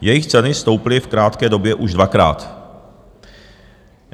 Jejich ceny stouply v krátké době už dvakrát.